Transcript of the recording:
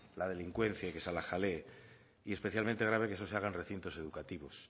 la delincuencia y que se la jalee y especialmente grave que es se haga en recintos educativos